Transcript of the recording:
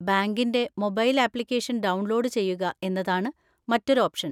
ബാങ്കിന്‍റെ mobile application download ചെയ്യുക എന്നതാണ് മറ്റൊരു ഓപ്ഷൻ.